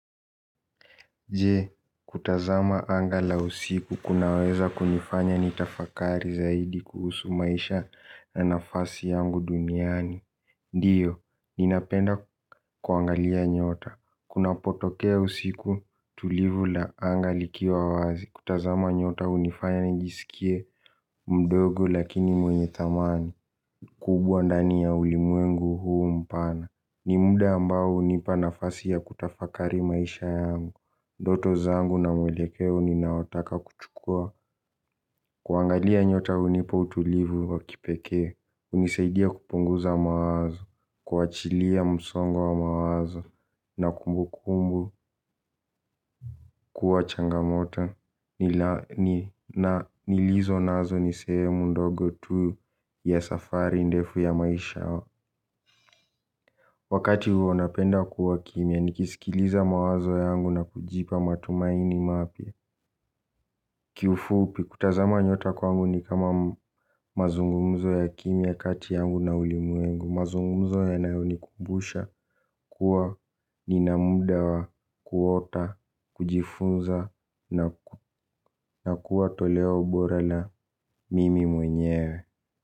Je, kutazama anga la usiku kunaweza kunifanya nitafakari zaidi kuhusu maisha na nafasi yangu duniani. Ndio, ninapenda kuangalia nyota. Kunapotokea usiku tulivu la anga likiwa wazi kutazama nyota hunifanya nijisikie mdogo lakini mwenye thamani kubwa ndani ya ulimwengu huu mpana. Ni muda ambao hunipa nafasi ya kutafakari maisha yangu ndoto zangu na mwelekeo ninaotaka kuchukua. Kuangalia nyota hunipa utulivu wa kipekee hunisaidia kupunguza mawazo kuachilia msongo wa mawazo na kumbukumbu kuwa changamoto nilizo nazo ni sehemu ndogo tu ya safari ndefu ya maisha. Wakati huo napenda kuwa kimya nikisikiliza mawazo yangu na kujipa matumaini mapya. Kiufupi kutazama nyota kwangu ni kama mazungumzo ya kimya kati yangu na ulimumwengu mazungumzo yanayonikumbusha kuwa nina muda wa kuota kujifunza na kuwa toleo bora la mimi mwenyewe.